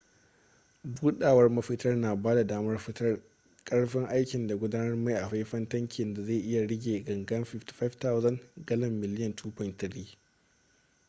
budawar mafitar na bada damar fitar karfin aikin da gudanar mai a faifan tankin da zai iya rike ganga 55,000 gallan miliyan 2.3